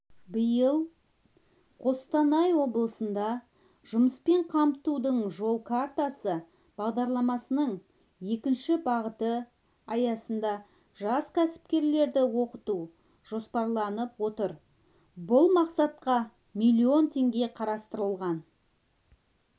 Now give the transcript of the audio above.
биыл қостанай облысында жұмыспен қамтудың жол картасы бағдарламасының екінші бағыты аясында жас кәсіпкерлерді оқыту жоспарланып отыр бұл мақсатқа млн теңге қарастырылған